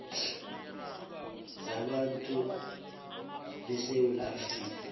zabantu besewula afrika